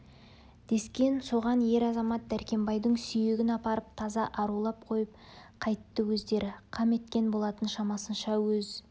дескен соған ер-азамат дәркембайдың сүйегін апарып таза арулап қойып қайтты өздері қам еткен болатын шамасынша өз